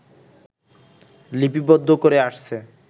লিপিবদ্ধ করে আসছে